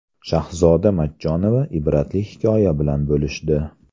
Shahzoda Matchonova ibratli hikoya bilan bo‘lishdi.